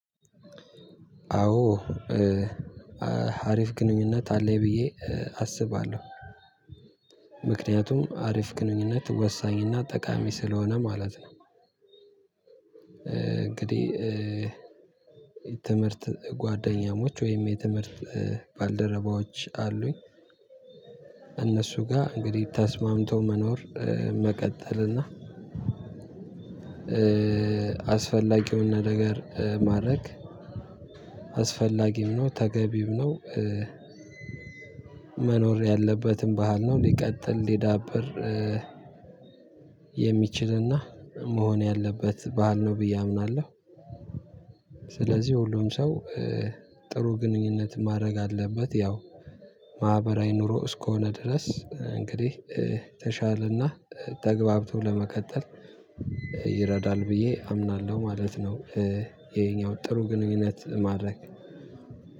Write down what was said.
አዎ አ አሪፍ ግንኙነት አለኝ ብዬ አስባለሁ ምክንያቱም አሪፍ ግንኙነት ወሳኝ እና ጠቃሚ ስለሆነ ማለት ነው። እንግዲህ። ትምህርት ጓደኛሞች ወይም የትምህርት ባልደረባዎች አሉኝ። እነሱ ጋር እንግዲህ ተስማምቶ መኖር መቀጠል እና አስፈላጊ የሆነ ነገር ማድረግ። አስፈላጊም ነው ተገቢም ነው። መኖር ያለበትም ባህል ነው ሊቀጥል ሊዳብር። የሚችል እና መሆን ያለበት ባህል ነው ብዬ አምናለሁ። ስለዚህ ሁሉም ሰው ጥሩ ግንኙነት ማድረግ አለበት ያው ማህበራዊ ኑሮ እስከሆነ ድረስ እንግዲህ ተሻል እና ተግባብቶ ለመቀጠል ይረዳል ብዬ አምናለሁ ማለት ነው። ይሄኛው ጥሩ ግንኙነት ማድረግ